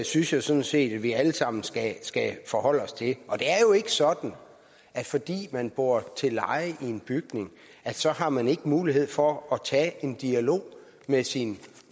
synes jeg sådan set vi alle sammen skal skal forholde os til det er jo ikke sådan at fordi man bor til leje i en bygning har man ikke mulighed for at tage en dialog med sin